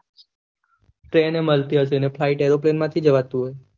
Train એ મળતી હશે એટલે flight એરોપ્લેન માંથી જવાતું હશે.